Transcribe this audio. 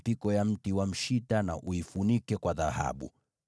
Tengeneza mipiko kwa miti ya mshita na uifunike kwa dhahabu.